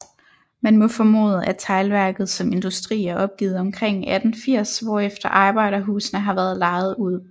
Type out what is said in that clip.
Man må formode at Teglværket som industri er opgivet omkring 1880 hvorefter arbejderhusene har været lejet ud